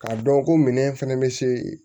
K'a dɔn ko minɛn fɛnɛ bɛ se